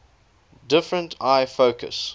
different eye focus